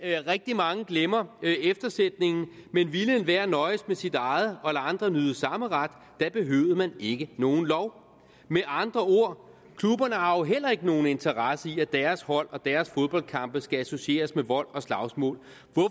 rigtig mange glemmer eftersætningen men ville enhver nøjes med sit eget og lade andre nyde samme ret da behøvede man ikke nogen lov med andre ord klubberne har jo heller ikke nogen interesse i at deres hold og deres foldboldkampe skal associeres med vold og slagsmål